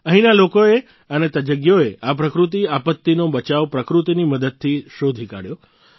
અહીંયાના લોકોએ અને તજજ્ઞોએ આ પ્રાકૃતિક આપત્તિનો બચાવ પ્રકૃતિની મદદથી શોધી કાઢ્યો